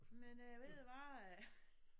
Men øh ved du hvad øh